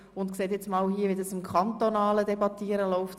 Nun sehen Sie, wie das kantonale Debattieren abläuft;